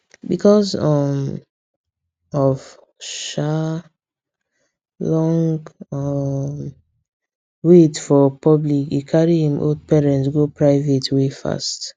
because um of um long um wait for public e carry im old parents go private wey fast